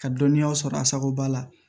Ka dɔnniyaw sɔrɔ a sago b'a la